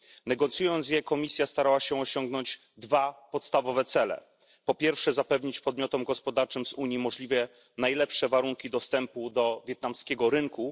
Negocjując je, Komisja starała się osiągnąć dwa podstawowe cele po pierwsze, zapewnić podmiotom gospodarczym z Unii możliwie najlepsze warunki dostępu do wietnamskiego rynku